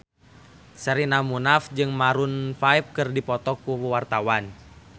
Sherina Munaf jeung Maroon 5 keur dipoto ku wartawan